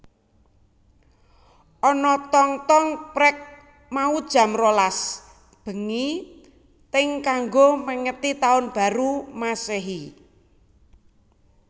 Ana tong tong prek mau jam rolas bengi teng kanggo mengeti taun baru masehi